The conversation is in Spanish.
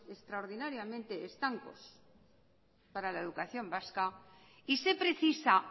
extraordinariamente estancos para la educación vasca y se precisa